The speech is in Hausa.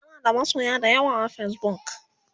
tanada masoya da yawa a Facebook